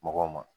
Mɔgɔw ma